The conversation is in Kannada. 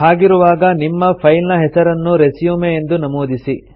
ಹಾಗಿರುವಾಗ ನಿಮ್ಮ ಫೈಲ್ ನ ಹೆಸರನ್ನು ರೆಸ್ಯೂಮ್ ಎಂದು ನಮೂದಿಸಿ